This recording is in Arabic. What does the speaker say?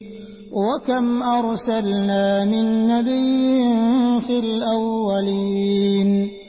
وَكَمْ أَرْسَلْنَا مِن نَّبِيٍّ فِي الْأَوَّلِينَ